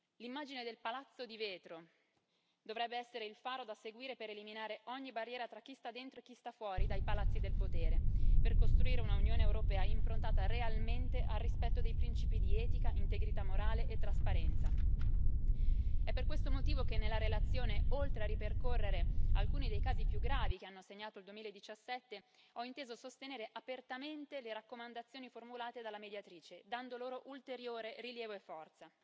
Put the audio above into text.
L'immagine del palazzo di vetro dovrebbe essere il faro da seguire per eliminare ogni barriera tra chi sta dentro e chi sta fuori dai palazzi del potere, per costruire una Unione europea improntata realmente al rispetto dei principi di etica, integrità morale e trasparenza. È per questo motivo che nella relazione, oltre a ripercorrere alcuni dei casi più gravi che hanno segnato il 2017, ho inteso sostenere apertamente le raccomandazioni formulate dalla Mediatrice, dando loro ulteriore rilievo e forza.